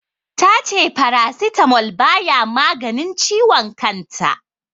Ta ce Paracetamol baya maganin ciwon kan ta.